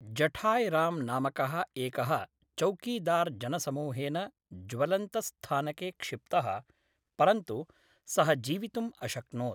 जठाय् राम् नामकः एकः चौकीदार् जनसमूहेन ज्वलन्तस्थानके क्षिप्तः, परन्तु सः जीवितुम् अशक्नोत्।